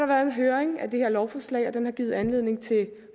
været en høring af det her lovforslag og den har givet anledning til